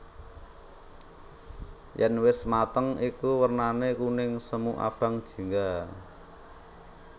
Yèn wis mateng iku wernané kuning semu abang jingga